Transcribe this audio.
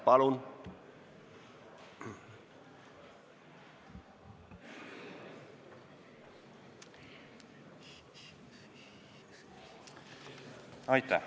Palun!